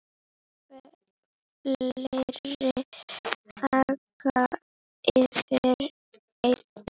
Fleiri aka eftir einn.